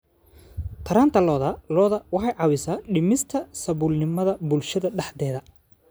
Taranta lo'da lo'da waxay caawisaa dhimista saboolnimada bulshada dhexdeeda.